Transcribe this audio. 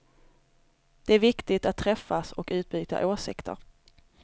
Det är viktigt att träffas och utbyta åsikter.